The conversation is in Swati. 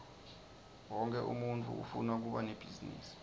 wonkhe umuntfu ufuna kuba nebhizinisi